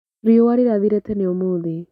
Riũa rĩrathire tene ũmũthĩ.